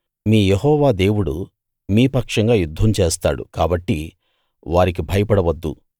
మీ యెహోవా దేవుడు మీ పక్షంగా యుద్ధం చేస్తాడు కాబట్టి వారికి భయపడ వద్దు